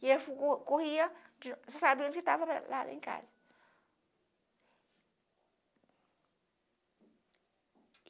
E eu co corria sabendo que estava lá lá em casa.